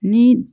Ni